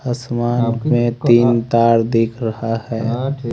आसमान में तीन तार दिख रहा हैं।